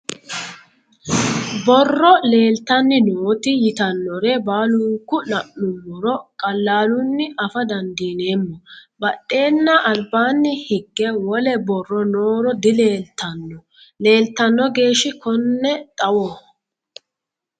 Borro leelittanni nootti yittannore baallunku la'nummoro qalaallunni affa dandiinnemmo badheenna Alibaanni higge wole borro nooro dileelittanno. Leelittanno geeshi kunne xawoho